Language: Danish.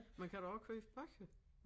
Man kan da også købe bøger